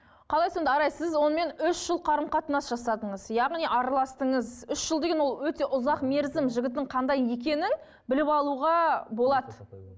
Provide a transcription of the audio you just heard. қалай сонда арай сіз онымен үш жыл қарым қатынас жасадыңыз яғни араластыңыз үш жыл деген ол өте ұзақ мерзім жігіттің қандай екенін біліп алуға болады